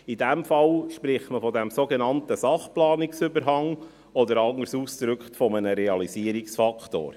In diesem Fall spricht man vom sogenannten Sachplanungsüberhang oder, anders ausgedrückt, von einem Realisierungsfaktor.